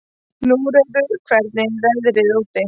Húnröður, hvernig er veðrið úti?